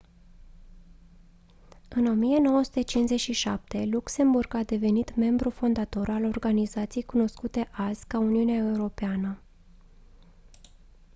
în 1957 luxemburg a devenit membru fondator al organizației cunoscute azi ca uniunea europeană